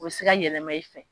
O bɛ se ka yɛlɛma i fɛ.